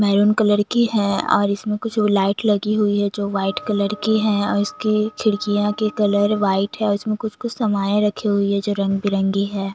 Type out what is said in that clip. Maroon colour की है और इसमें कुछ लाइट लगी हुई है जो वाइट कलर की है और इसकी खिड़कियां की कलर वाइट है उसमे कुछ कुछ सामाने रखी हुई है जो रंगबिरंगी है।